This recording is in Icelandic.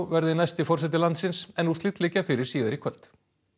verði næsti forseti landsins en úrslit liggja fyrir síðar í kvöld